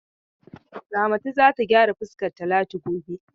Ramatu za ta gyara fuskar Talatu gobe.